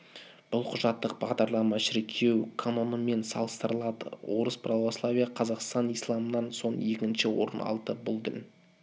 бұл құжаттық бағдарлама шіркеу канонымен салыстырылады орыс православиясы қазақстанда исламнан соң екінші орын алады бұл дін